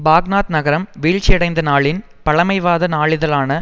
Baghdad நகரம் வீழ்ச்சியடைந்த நாளில் பழமைவாத நாளிதழான